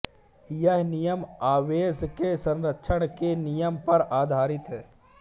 यह नियम आवेश के संरक्षण के नियम पर आधारित है